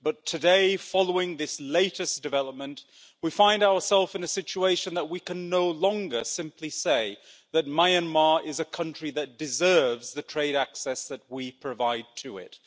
But today, following this latest development, we find ourselves in a situation where we can no longer simply say that Myanmar is a country that deserves the trade access we provide to it.